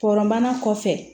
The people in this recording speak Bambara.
Kɔrɔman kɔfɛ